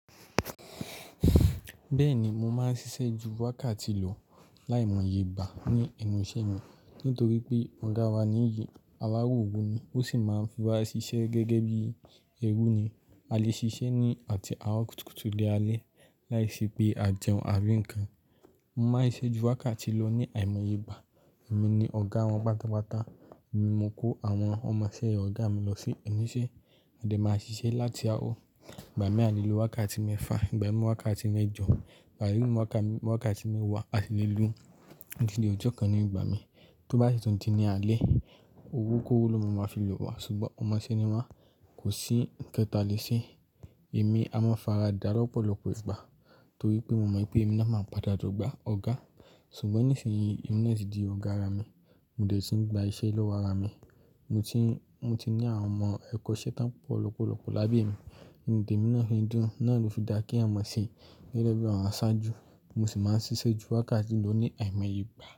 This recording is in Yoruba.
Bẹ́ẹ̀ni, mo máa ń ṣiṣẹ́ ju wákàtí lọ láìmọye ìgbà ní ẹnu iṣẹ́ mi nítorí pé ọ̀gá wa níyìí, alároro ni, ó sì máa ń fi wa ṣiṣẹ́ gẹ́gẹ́ bí ẹrú ni. A lè ṣiṣẹ́ ni àti àárọ̀ kùtùkùtù di alẹ́ láìṣe pé a jẹun àbí ǹkan. Mo máa ń ṣiṣẹ́ ju wákàtí lọ ní àìmọye ìgbà. Èmi ni ọ̀gá wọn pátápátá, èmi ni mo kó àwọn ọmọ iṣẹ́ ọ̀gá mi lọ sí ẹnu iṣẹ́, adé máa ṣiṣẹ́ láti àárọ̀, ìgbà mí a lè lo wákàtí mẹ́fà, ìgbà mì wákàtí mẹ́jọ, ìgbà mì wákàtí mẹ́wàá, a sì lè lu ńdíde ọjọ́ kan ní ìgbà mi. Tóbá ṣi tòn ti ni àlè, owó kóró ló máa ma fi lò wá ṣùgbọ́n ọmọ iṣẹ́ ni wá, kò sí ǹkan ta lè ṣe. Èmi a máa faradà lọ́pọ̀lọpọ̀ ìgbà torí pé mo mọ̀ pé èmi náà máa padà di ọ̀gá, ṣùgbọ́n nísinyì èmi náà ti di ọ̀gá ara mi. Mo dẹ̀ ti ń gba iṣẹ́ lọ́wọ́ ara mi, mo ti, mo ti ní àwọn ọmọ ẹ̀kọ́ ṣẹ́ tán pọ̀ lọ́pọ̀lọpọ̀ lábẹ́ mi, nínú te mi náà fi ń dùn, náà ló fi dá kí ẹ̀yàn má ṣe gẹ́gẹ́ bí àwọn aṣáájú, mo sì máa ń ṣiṣẹ́ ju wákàtí lọ ní àìmọye ìgbà.